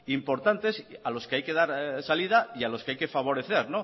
importantes a los que hay que dar salidas y a los que hay que favorecer